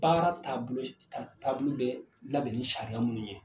Baara taabolo taabolo be labɛn ni sariya minnu ye